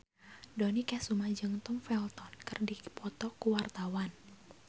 Dony Kesuma jeung Tom Felton keur dipoto ku wartawan